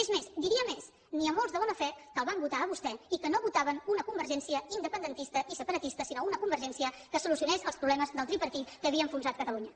és més diria més n’hi ha molts de bona fe que el van votar a vostè i que no votaven una convergència independentista i separatista sinó una convergència que solucionés els problemes del tripartit que havia enfonsat catalunya